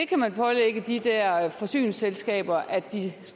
kan pålægge de der forsyningsselskaber at de